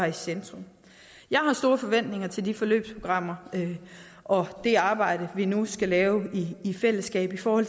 i centrum jeg har store forventninger til de forløbsprogrammer og det arbejde vi nu skal lave i fællesskab for